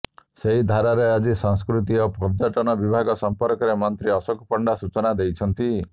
ସେହି ଧାରାରେ ଆଜି ସଂସ୍କୃତି ଓ ପର୍ଯ୍ୟଟନ ବିଭାଗ ସମ୍ପର୍କରେ ମନ୍ତ୍ରୀ ଅଶୋକ ପଣ୍ଡା ସୂଚନା ଦେଇଛନ୍ତି